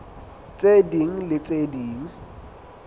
tse ding le tse ding